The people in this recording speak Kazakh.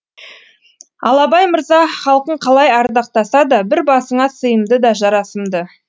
ал абай мырза халқың қалай ардақтаса да бір басыңа сыйымды да жарасымды